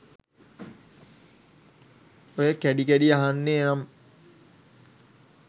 ඔය කැඩි කැඩි අහෙන්නේ නම්